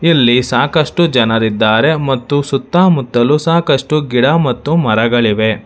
ಇಲ್ಲಿ ಸಾಕಷ್ಟು ಜನರಿದ್ದಾರೆ ಮತ್ತು ಸುತ್ತ ಮುತ್ತಲು ಸಾಕಷ್ಟು ಗಿಡ ಮತ್ತು ಮರಗಳಿವೆ.